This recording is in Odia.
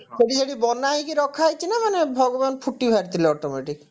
ସେଠି ସେଠି ବନାହେଇକି ରଖାହେଇଛି ନା ମାନେ ଭଗବାନ ଫୁଟି ବାହାରିଥିଲେ automatic